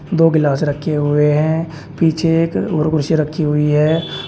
दो गिलास रखे हुए हैं पीछे एक और कुर्सी रखी हुई है।